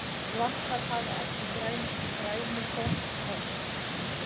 Svampar hafa ekki grænukorn og ljóstillífa þar af leiðandi ekki.